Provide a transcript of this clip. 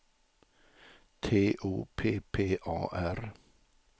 T O P P A R